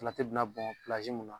Salati bɛna bɔn mun na